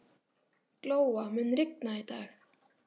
Glóa, mun rigna í dag?